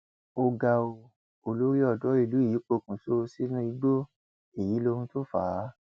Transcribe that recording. ó ga ọ olórí odò ìlú yìí pokùnso sínú igbó èyí lohun tó fà á